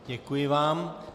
Děkuji vám.